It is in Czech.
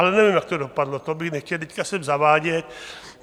Ale nevím, jak to dopadlo, to bych nechtěl teď sem zavádět.